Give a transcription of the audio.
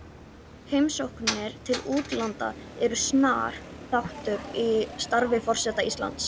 Heimsóknir til útlanda eru snar þáttur í starfi forseta Íslands.